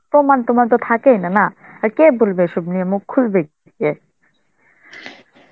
প্রমান টমান তো থাকই না না, আর কে বলবে, এসব নিয়ে মুখ খুলবে কে?